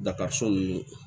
ni